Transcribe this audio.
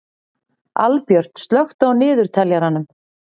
Albjört, slökktu á niðurteljaranum.